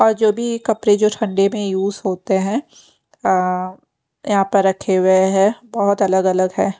और जो भी कपड़े जो ठंडे में यूज होते हैं अ यहाँ पर रखे हुए हैं बहुत अलग अलग है।